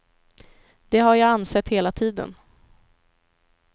Det har jag ansett hela tiden.